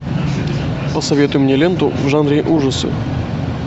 посоветуй мне ленту в жанре ужасы